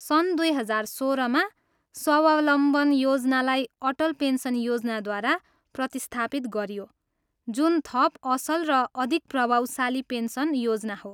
सन् दुई हजार सोह्रमा स्वावलम्बन योजनालाई अटल पेन्सन योजनाद्वारा प्रतिस्थापित गरियो, जुन थप असल र अधिक प्रभावशाली पेन्सन योजना हो।